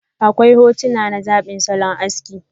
Akwai hotuna na zabin salon aski.